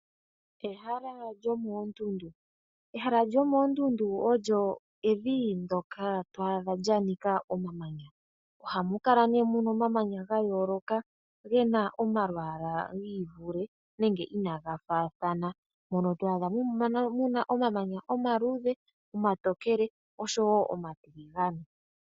Ehala lyomoondundu olyo evi ndyoka twadha lya nika omamanya. Ohamu kala muna omamanya gayooloka ge na omalwaala inaga faathana. Mono twadha muna omamanya omaluudhe, omatokele noshowo omatiligande.